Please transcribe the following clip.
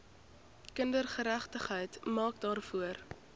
kindergeregtigheid maak daarvoor